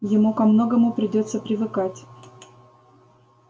ему ко многому придётся привыкать